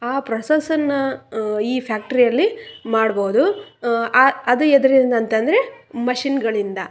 ಆ ಪ್ರೋಸೆಸ್ ನ್ನ ಈ ಫ್ಯಾಕ್ಟರಿ ಯಲ್ಲಿ ಮಾಡಬೋದು ಆ ಆ ಅದು ಎದ್ರಿಂದ ಅಂತಂದ್ರೆ ಮಶೀನ್ ಗಳಿಂದ.